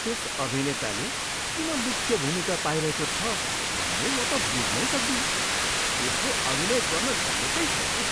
त्यस अभिनेताले किन मुख्य भूमिका पाइरहेको छ भन्ने म त बुझ्नै सक्दिनँ। त्यसले अभिनय गर्न जानेकै छैन।